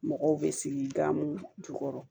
Mɔgɔw bɛ sigi gamugu jukɔrɔ